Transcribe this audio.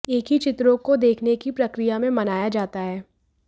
एक ही चित्रों को देखने की प्रक्रिया में मनाया जाता है